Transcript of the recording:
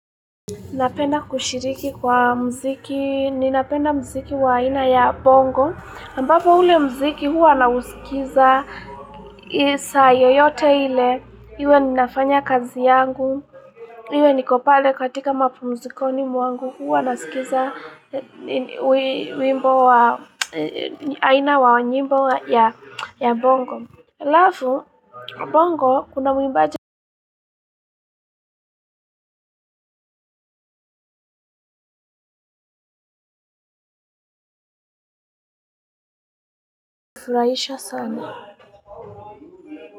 Napenda kushiriki kwa muziki, ninapenda muziki wa aina ya bongo, ambapo ule muziki huwa nausikiza saa yoyote ile, iwe ninafanya kazi yangu, iwe niko pale katika mapumzikoni mwangu huwa nasikiza wimbo wa aina wa nyimbo ya bongo. Halafu, bongo kuna mwimbaji hufurahisha sana.